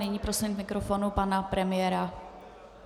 Nyní prosím k mikrofonu pana premiéra.